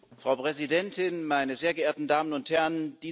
Frau Präsidentin, meine sehr geehrten Damen und Herren!